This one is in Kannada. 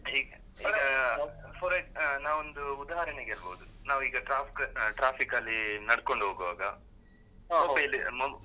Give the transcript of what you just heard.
ಈಗ ಅಹ್ ನಾವೊಂದು ಉದಾಹರಣೆಗೆ ಹೇಳ್ಬೋದು, ನಾವೀಗ traffic, traffic ಲ್ಲಿ ನಡ್ಕೊಂಡು ಹೋಗ್ವಾಗ